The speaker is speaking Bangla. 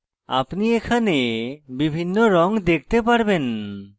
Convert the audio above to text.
আপনি এখানে বিভিন্ন রঙ দেখতে পারবেন